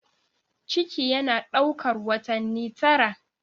Ciki yana ɗaukar watanni tara.